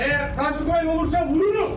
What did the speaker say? Əgər tank gəlirsə vururuz!